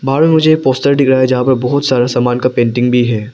बाहर में मुझे एक पोस्टर दिख रहा है जहां पर बहुत सारा सामान का पेंटिंग भी है।